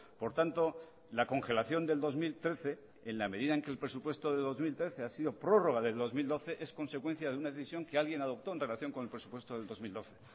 por tanto la congelación del dos mil trece en la medida en que el presupuesto de dos mil trece ha sido prórroga del dos mil doce es consecuencia de una decisión que alguien adoptó en relación con el presupuesto del dos mil doce